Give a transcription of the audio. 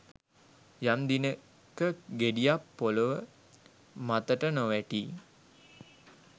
යම් දිනක ගෙඩියක් පොලව මතට නොවැටී